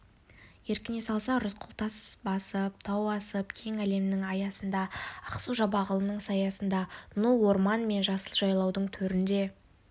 еркіне салса рысқұл тас басып тау асып кең әлемнің аясында ақсу-жабағылының саясында ну орман мен жасыл жайлаудың төрінде